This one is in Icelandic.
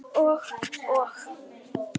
Og, og.